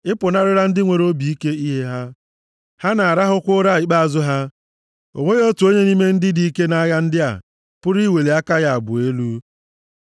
A pụnarịla ndị nwere obi ike ihe ha, ha na-arahụkwa ụra ikpeazụ ha; o nweghị otu onye nʼime ndị dike nʼagha ndị a pụrụ iweli aka ya abụọ elu.